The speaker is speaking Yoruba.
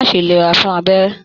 Má ṣe lera fún abẹ́rẹ́!